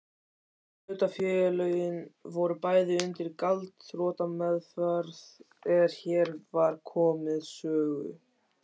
Hlutafélögin voru bæði undir gjaldþrotameðferð er hér var komið sögu.